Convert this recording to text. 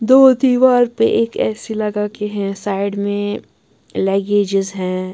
दो दीवार पे एक ऐसी लगा के हैं साइड में लगेजेस हैं।